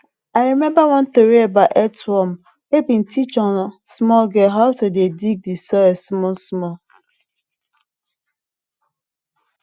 i remember one tori about earthworm wey been teach on small girl how to dey dig de soil small small